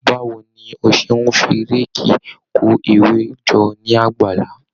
Báwo ni o ṣe ń fi réèkì kó ewé jọ ní àgbàlá?